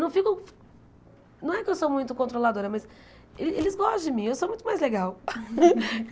Não ficam é que eu sou muito controladora, mas eles eles gostam de mim, eu sou muito mais legal.